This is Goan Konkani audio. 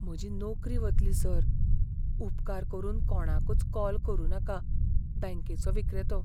म्हजी नोकरी वतली, सर . उपकार करून कोणाकूच कॉल करुनाका बँकेंचो विक्रेतो